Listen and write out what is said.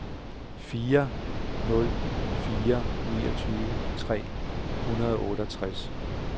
fire ni nul fire niogtyve tre hundrede og otteogtres